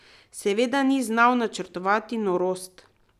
Seveda bi znal načrtovati norost.